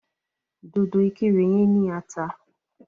Dòdò ìkirè yẹn ní ata.